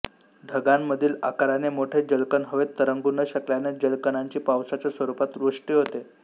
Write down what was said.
ढगांमधील आकाराने मोठे जलकण हवेत तरंगू न शकल्याने जलकणांची पावसाच्या स्वरूपात वृष्टी होते